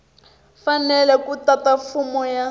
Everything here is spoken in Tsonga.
fanele ku tata fomo ya